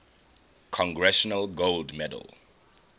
congressional gold medal